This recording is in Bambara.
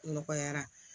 Nɔgɔyara